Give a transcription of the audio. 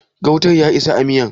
gautan ya isa a miyar?